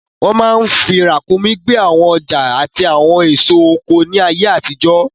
Wọ́n máa n fi ràǹkúnmí gbé àwọn ọjà àti àwọn èso oko ní ayé àtijọ́